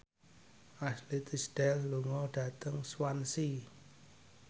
Ashley Tisdale lunga dhateng Swansea